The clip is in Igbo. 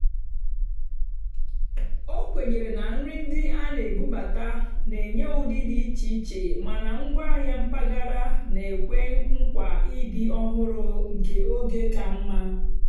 ó kwènyèrè nà nrì ndí á nà-èbúbátá nà-ènyé ụ́dị́ dì íché íché màná ngwáàhịá mpàgàrà nà-ékwe nkwaà ị́dì́ ọ́hụ́rụ́ nkè ógè kà mmá.